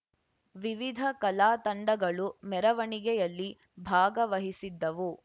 ವಿವಿಧ ಕಲಾ ತಂಡಗಳು ಮೆರವಣಿಗೆಯಲ್ಲಿ ಭಾಗವಹಿಸಿದ್ದವು